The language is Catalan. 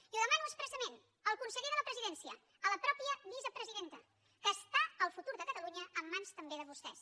i ho demano expressament al conseller de la presidència a la mateixa vicepresidenta que està el futur de catalunya en mans també de vostès